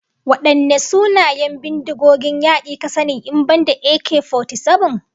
Wadanne sunayen bindigogin yaki ka sani in banda AK-47?